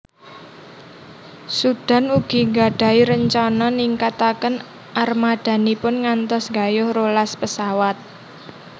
Sudan ugi gadahi rencana ningkataken armadanipun ngantos gayuh rolas pesawat